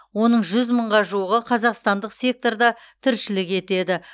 оның жүз мыңға жуығы қазақстандық секторда тіршілік етеді